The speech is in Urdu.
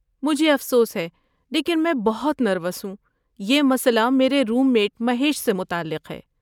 مجھے افسوس ہے لیکن میں بہت نروس ہوں، یہ مسئلہ میرے روم میٹ مہیش سے متعلق ہے۔